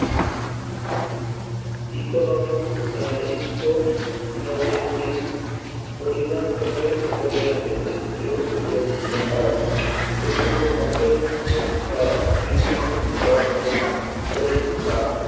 economic economic tips পরিমান গত পরিমাপের সূত্র তুলে ধরতে পারে এগুলো অন্তর্ভুক্ত হয় বিভিন্ন তত্ত্ব পরীক্ষার